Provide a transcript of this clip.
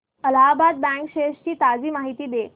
Allahabad bank shares ची ताजी माहिती दे